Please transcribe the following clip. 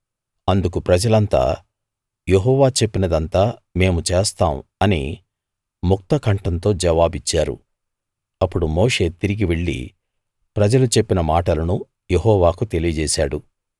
అందుకు ప్రజలంతా యెహోవా చెప్పినదంతా మేము చేస్తాం అని ముక్తకంఠంతో జవాబిచ్చారు అప్పుడు మోషే తిరిగి వెళ్లి ప్రజలు చెప్పిన మాటలను యెహోవాకు తెలియజేశాడు